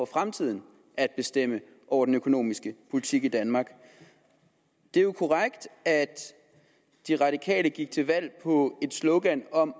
fremtiden at bestemme over den økonomiske politik i danmark det er jo korrekt at de radikale gik til valg på et slogan om